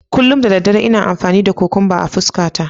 Kullum da dare ina amfani da kukumba a fuskata.